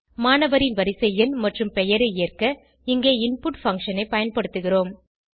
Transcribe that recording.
மாணவரின் வரிசை எண் மற்றும் பெயரை ஏற்க இங்கே இன்புட் பங்ஷன் ஐ பயன்படுத்துகிறோம்